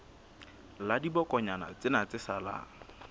la dibokonyana tsena tse salang